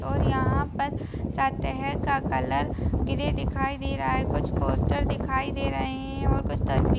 और यहाँ पर सतेह का कलर ग्रे दिखाई दे रहा है कुछ पोस्टर दिखाई दे रहे हैं कुछ तस्वीर --